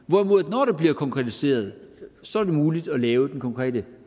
hvorimod det når det bliver konkretiseret så er muligt at lave den konkrete